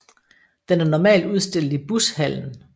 Den er normalt udstillet i Bushallen